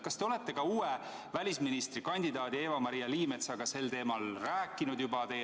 Kas te olete välisministrikandidaat Eva-Maria Liimetsaga sel teemal rääkinud?